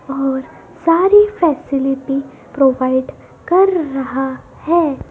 और सारी facility provide कर रहा है।